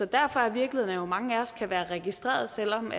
derfor er virkeligheden jo den at mange af os kan være registrerede selv om